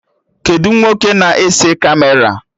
Kedụ nwoke na-ese Kamera?